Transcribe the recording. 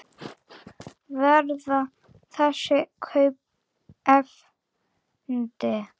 Verða þessi kaup efnd?